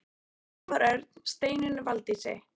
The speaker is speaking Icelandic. Svavar Örn: Steinunni Valdísi?